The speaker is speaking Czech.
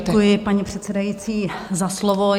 Děkuji, paní předsedající, za slovo.